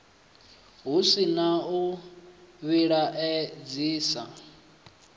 hu si na u vhilaedzisa